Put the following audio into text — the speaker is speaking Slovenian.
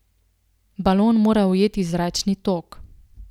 Balon mora ujeti zračni tok.